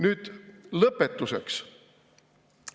Nüüd lõpetuseks.